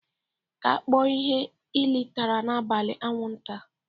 Ka a kpọọ ihe lile tara n'abalị anwụnta